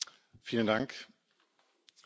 Frau Präsidentin, liebe Kollegen!